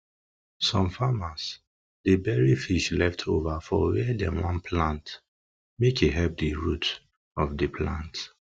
some farmers dey bury fish leftover for where dem wan plant make e help the root of de plant